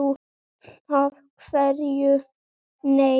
Af hverju nei?